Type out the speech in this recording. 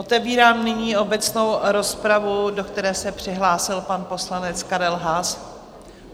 Otevírám nyní obecnou rozpravu, do které se přihlásil pan poslanec Karel Haas.